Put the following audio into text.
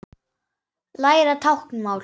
Læra táknmál